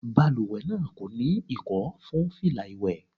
Balùwẹ̀ náà kò ní Ìkọ́ fún fìlà ìwé.